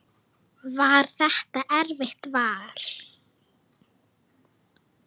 Var það erfitt vall?